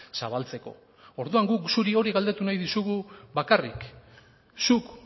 zabaltzeko orduan guk zuri hori galdetu nahi dizugu bakarrik zuk